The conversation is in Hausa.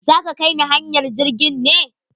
Za ka kai ne hanyar jirgin ne?